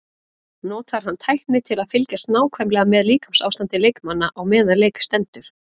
Notar hann tækni til að fylgjast nákvæmlega með líkamsástandi leikmanna á meðan leik stendur?